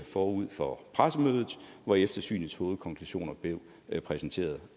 forud for pressemødet hvor eftersynets hovedkonklusioner blev præsenteret